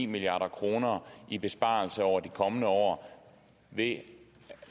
milliard kroner i besparelser over de kommende år